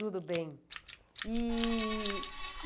Tudo bem. E